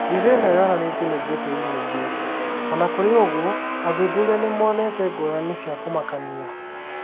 Mbica ĩno yonanĩtio nĩ Getty Images. O na kũrĩ ũguo, athuthuria nĩ monete ngũrani cia kũmakania.